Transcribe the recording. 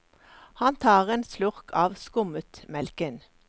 Han tar en slurk av skummetmelken.